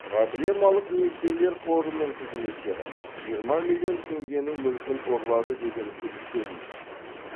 проблемалық несиелер қорының қызметкері жиырма миллион теңгенің мүлкін ұрлады деген күдікке ілінді